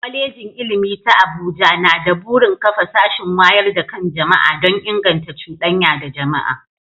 Kwalejin Ilimi ta Abuja na da burin kafa sashin wayar da kan jama'a don inganta cudanya da jama'a.